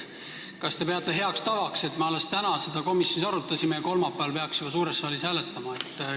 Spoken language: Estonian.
Kas te peate heaks tavaks, et me alles täna seda komisjonis arutasime ja kolmapäeval juba peaksime suures saalis hääletama?